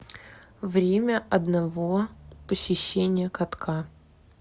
время одного посещения катка